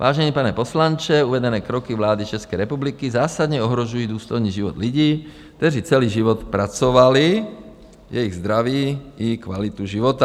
Vážený pane poslanče, uvedené kroky vlády České republiky zásadně ohrožují důstojný život lidí, kteří celý život pracovali, jejich zdraví i kvalitu života.